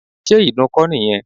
Ṣé ìdun kọ́ nìyẹn?